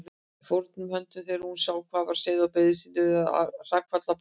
Fórnaði höndum þegar hún sá hvað var á seyði og beygði sig niður að hrakfallabálknum.